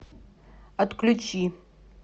отключи